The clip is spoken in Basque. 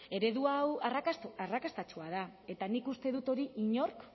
eredu hau arrakastatsua da eta nik uste dut hori inork